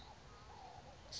sefako